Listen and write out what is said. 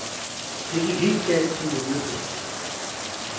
Det gik helt galt til julefesten.